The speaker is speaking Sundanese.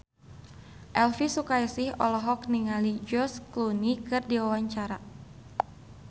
Elvi Sukaesih olohok ningali George Clooney keur diwawancara